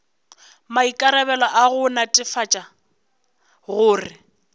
maikarabelo a go netefatša gore